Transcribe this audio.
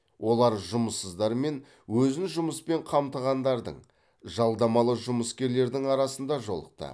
олар жұмыссыздар мен өзін жұмыспен қамтығандардың жалдамалы жұмыскерлердің арасында жолықты